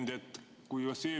Hea ettekandja!